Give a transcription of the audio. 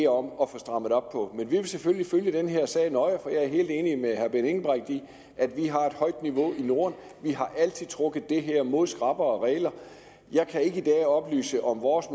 om at få strammet op på men vi vil selvfølgelig følge den her sag nøje for jeg er helt enig med herre benny engelbrecht i at vi har et højt niveau i norden vi har altid trukket det her mod skrappere regler jeg kan ikke i dag oplyse om vores